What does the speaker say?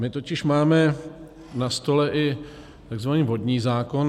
My totiž máme na stole i tzv. vodní zákon.